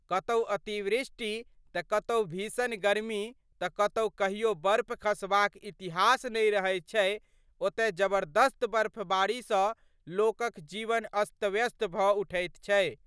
कतहु अतिवृष्टि तड कतहु भीषण गर्मी तड जतऽ कहियो बर्फ खसबाक इतिहास नहि रहैत छै ओतय जबरदस्त बर्फबारीसं लोकक जीवन अस्तव्यस्त भड उठैत छै।